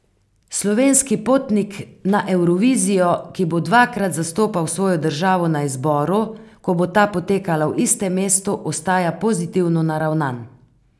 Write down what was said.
Slovenski potnik na Evrovizijo, ki bo dvakrat zastopal svojo državo na izboru, ko bo ta potekala v istem mestu, ostaja pozitivno naravnan.